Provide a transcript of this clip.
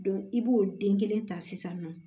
i b'o den kelen ta sisan nɔ